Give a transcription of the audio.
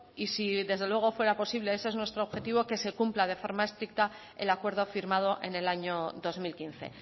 y si desde luego fuera posible ese es nuestro objetivo que se cumpla de forma eficaz el acuerdo firmado en el año dos mil quince